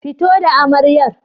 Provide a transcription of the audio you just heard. Fito da amaryar!